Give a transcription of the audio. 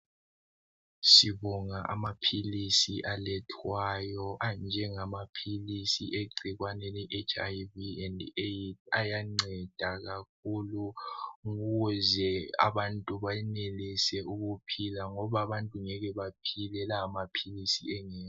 sibonga amaphilisi alethwayo anjengamaphilisi awegcikwane le HIV and AIDS ayanceda kakhulu ukuze abantu benelise ukuphila ngoba abantu ngeke benelise ukuphila uma la maphilisi engekho